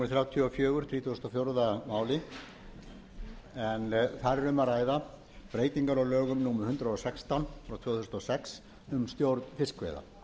þrjátíu og fjögur þrítugasta og fjórða mál en þar er um að ræða breytingar á lögum númer hundrað og sextán tvö þúsund og sex um stjórn fiskveiða